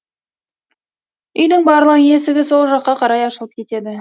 үйдің барлық есігі сол жаққа қарай ашылып кетеді